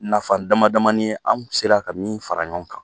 Nafa dama damannin ye anw sera ka min fara ɲɔgɔn kan!